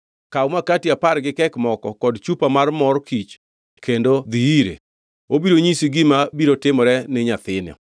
Kaw makati apar gi kek moko kod chupa mar mor kich kendo dhi ire. Obiro nyisi gima biro timore ni nyathino.”